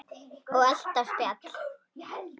Og alltaf spjall.